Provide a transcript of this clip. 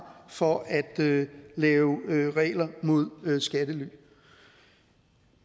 for at lave lave regler mod skattely